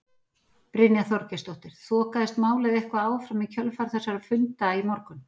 Brynja Þorgeirsdóttir: Þokaðist málið eitthvað áfram í kjölfar þessara funda í morgun?